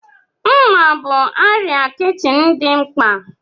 Mma bụ arịa kichin dị mkpa.